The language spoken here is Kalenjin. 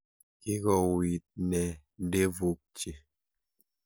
Kikouwit nee ndevuk chi.